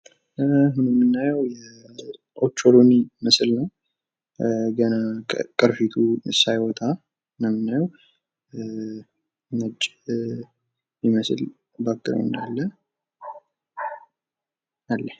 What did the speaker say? በምስሉ ላይ የምንመለከተው የኦቾሎኒ ምስል ሲሆን፤ ገና ያልተፈለፈለ እሸት ነው።